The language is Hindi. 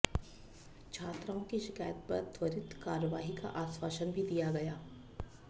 छात्राओं की शिकायत पर त्वरित कार्रवाई का आश्वासन भी दिया गया